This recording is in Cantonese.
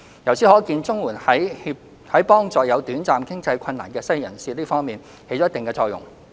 由此可見，綜援在幫助有短暫經濟困難的失業人士這方面，起了一定作用。